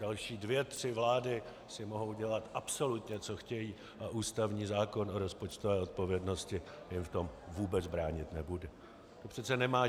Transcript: Další dvě tři vlády si mohou dělat absolutně, co chtějí, a ústavní zákon o rozpočtové odpovědnosti jim v tom vůbec bránit nebude.